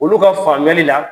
Olu ka faamuyali la